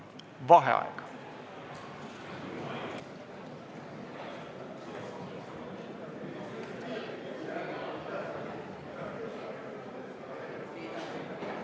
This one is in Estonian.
V a h e a e g